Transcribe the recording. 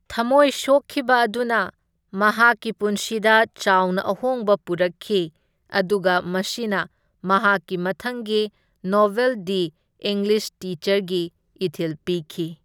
ꯊꯝꯃꯣꯏ ꯁꯣꯛꯈꯤꯕ ꯑꯗꯨꯅ ꯃꯍꯥꯛꯀꯤ ꯄꯨꯟꯁꯤꯗ ꯆꯥꯎꯅ ꯑꯍꯣꯡꯕ ꯄꯨꯔꯛꯈꯤ, ꯑꯗꯨꯒ ꯃꯁꯤꯅ ꯃꯍꯥꯛꯀꯤ ꯃꯊꯪꯒꯤ ꯅꯣꯚꯦꯜ ꯗꯤ ꯏꯪꯂꯤꯁ ꯇꯤꯆꯔꯒꯤ ꯏꯊꯤꯜ ꯄꯤꯈꯤ꯫